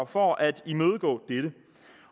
for at imødegå dette